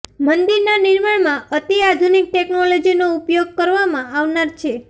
મંદિરના નિર્માણમાં અતિ આધુનિક ટેકનોલોજીનો ઉપયોગ કરવામાં આવનાર છે